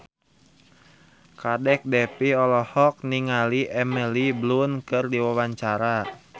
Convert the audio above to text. Kadek Devi olohok ningali Emily Blunt keur diwawancara